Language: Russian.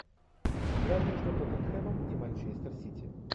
игра между тоттенхэмом и манчестер сити